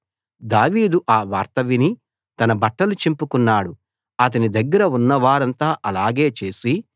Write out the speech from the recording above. దావీదు ఆ వార్త విని తన బట్టలు చింపుకున్నాడు అతని దగ్గర ఉన్నవారంతా అలాగే చేసి